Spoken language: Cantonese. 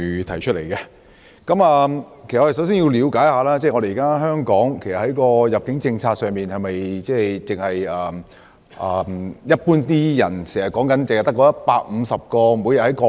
首先，我們要了解，現行香港的入境政策是否只有一般人經常提到的每天150個單程證配額？